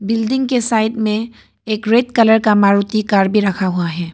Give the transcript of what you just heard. Building के side में एक रेड कलर का मारुति कार भी रखा हुआ है।